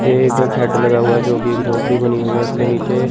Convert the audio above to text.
एक लगा हुआ जोकि एक झोपड़ी बनी हुई है उसके नीचे--